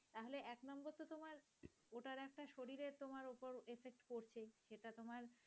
তা তোমার